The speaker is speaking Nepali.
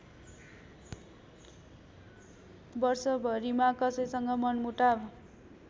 वर्षभरिमा कसैसँग मनमुटाव